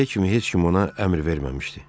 İndiyə kimi heç kim ona əmr verməmişdi.